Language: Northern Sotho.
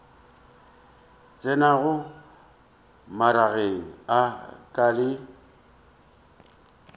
tsenago magareng a ka le